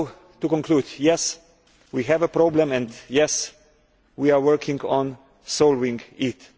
To conclude, yes, we have a problem and, yes, we are working on solving it.